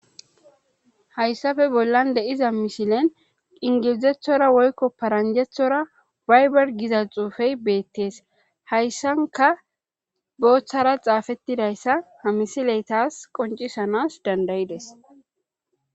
hayssafe bollan de7iza mishilen ingilizethora woykko paranjethora wayber giza xuufey beettees hayssanka booththara xaafettidayssa ha misileytaas qoncisanas dandayides